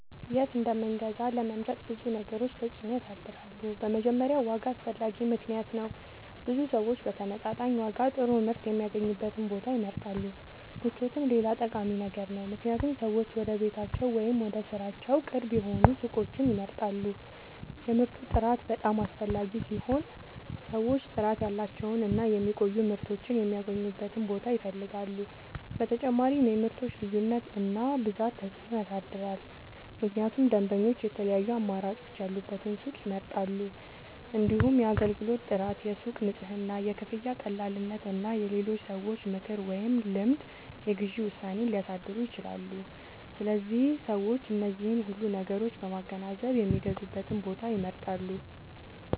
የት እንደምንገዛ ለመምረጥ ብዙ ነገሮች ተጽዕኖ ያሳድራሉ። በመጀመሪያ ዋጋ አስፈላጊ ምክንያት ነው፤ ብዙ ሰዎች በተመጣጣኝ ዋጋ ጥሩ ምርት የሚያገኙበትን ቦታ ይመርጣሉ። ምቾትም ሌላ ጠቃሚ ነገር ነው፣ ምክንያቱም ሰዎች ወደ ቤታቸው ወይም ወደ ሥራቸው ቅርብ የሆኑ ሱቆችን ይመርጣሉ። የምርቱ ጥራት በጣም አስፈላጊ ሲሆን ሰዎች ጥራት ያላቸውን እና የሚቆዩ ምርቶችን የሚያገኙበትን ቦታ ይፈልጋሉ። በተጨማሪም የምርቶች ልዩነት እና ብዛት ተጽዕኖ ያሳድራል፣ ምክንያቱም ደንበኞች የተለያዩ አማራጮች ያሉበትን ሱቅ ይመርጣሉ። እንዲሁም የአገልግሎት ጥራት፣ የሱቁ ንጽህና፣ የክፍያ ቀላልነት እና የሌሎች ሰዎች ምክር ወይም ልምድ የግዢ ውሳኔን ሊያሳድሩ ይችላሉ። ስለዚህ ሰዎች እነዚህን ሁሉ ነገሮች በማገናዘብ የሚገዙበትን ቦታ ይመርጣሉ።